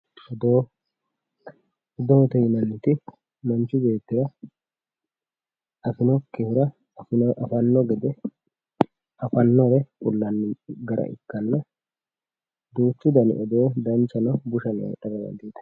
odoo, odoote yinanniti manchu beettira afinokkihura afanno gede afannore kullanni gara ikkanna duuchu dani odoo dancha no bushano hee'ra dandiitanno